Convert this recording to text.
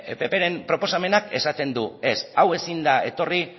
ppren proposamenak esaten du ez hau ezin da etorri